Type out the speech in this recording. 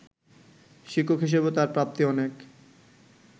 শিক্ষক হিসেবেও তাঁর প্রাপ্তি অনেক